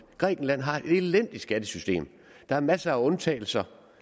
grækenland har et elendigt skattesystem der er masser af undtagelser